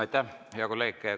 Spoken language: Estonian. Aitäh, hea kolleeg!